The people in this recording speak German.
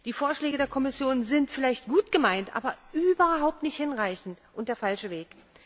Die Vorschläge der Kommission sind vielleicht gut gemeint, aber überhaupt nicht hinreichend und der falsche Weg!